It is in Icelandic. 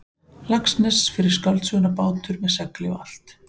Laxness fyrir skáldsöguna Bátur með segli og allt.